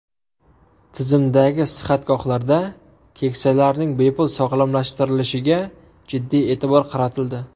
Tizimdagi sihatgohlarda keksalarning bepul sog‘lomlashtirilishiga jiddiy e’tibor qaratildi.